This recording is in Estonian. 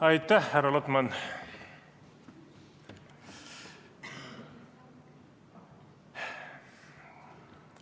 Aitäh, härra Lotman!